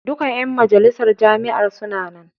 Duka ƴan majalisar jami'ar suna nan.